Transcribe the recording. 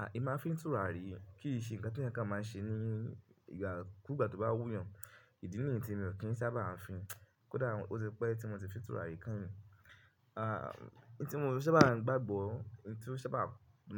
À emi maá n fín tùràrí o kì í ṣe ǹnkan tí ẹ̀eyan kan máa ń ṣe ní ìgbà kú ìgbà tó bá wú eeyàn. Ìdí nìyí tí mi ò kí ń sábà á fín. Kódà ó ti pẹ́ tí mo ti fín tùràrí kan yin. N tí mo sábà gbagbọ́, n tí ó sábà